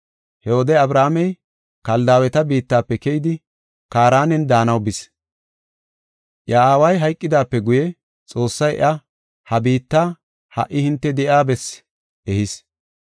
He wode Abrahaamey Kaldaaweta biittafe keyidi Kaaranen daanaw bis. Iya aaway hayqidaape guye Xoossay iya ha biitta ha77i hinte de7iya bessaa ehis.